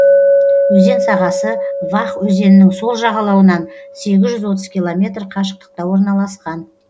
өзен сағасы вах өзенінің сол жағалауынан сегіз жүз отыз километр қашықтықта орналасқан